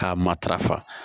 K'a matarafa